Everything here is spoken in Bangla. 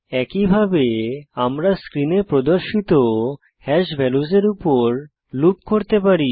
একইভাবে আমরা স্ক্রিনে প্রদর্শিত হ্যাশ ভ্যালুসের উপর লুপ করতে পারি